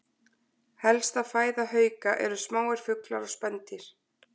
Helsta fæða hauka eru smáir fuglar og spendýr.